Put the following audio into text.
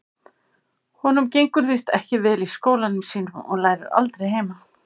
Honum gengur víst ekki vel í skólanum sínum og lærir aldrei heima.